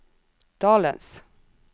dalens